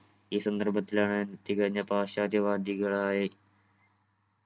ഈ സന്ദർഭത്തിലാണ് തികഞ്ഞ പാശ്ചാത്യ വാദികളായി